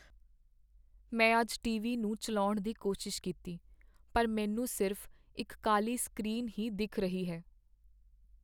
ਮੈਂ ਅੱਜ ਟੀਵੀ ਨੂੰ ਚੱਲਾਉਣ ਦੀ ਕੋਸ਼ਿਸ਼ ਕੀਤੀ ਪਰ ਮੈਂਨੂੰ ਸਿਰਫ਼ ਇੱਕ ਕਾਲੀ ਸਕ੍ਰੀਨ ਹੀ ਦਿੱਖ ਰਹੀ ਹੈ